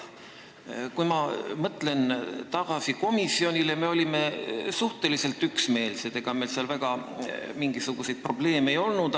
Kui ma mõtlen tagasi komisjoni arutelule, siis kinnitan, et me olime suhteliselt üksmeelsed, ega meil seal mingisuguseid erilisi probleeme ei olnud.